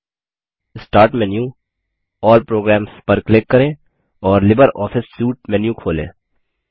start menu GT GT all programs पर click करें और लिब्रियोफिस सूटे मेन्यू खोलें